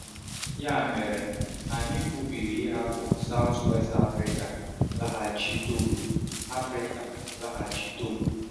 um Ya mere, anyị kwubiri ịhapụ South-West Africa laghachi Togo. Africa laghachi Togo.